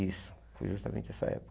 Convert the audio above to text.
Isso, foi justamente nessa época.